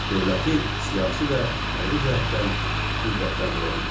Dövləti siyasi və hərbi cəhətdən qüvvətləndirə bildi.